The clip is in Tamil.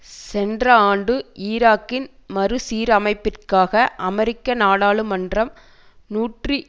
சென்ற ஆண்டு ஈராக்கின் மறுசீரமைப்பிற்காக அமெரிக்க நாடாளுமன்றம் நூற்றி